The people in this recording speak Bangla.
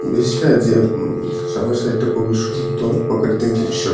ব্রিজটা যে উম সবার সাইডটা খুবই সুন্দর প্রকৃতির দৃশ্যট--